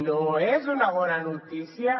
no és una bona notícia